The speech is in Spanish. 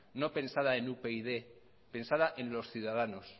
no pensada en upyd pensada en los ciudadanos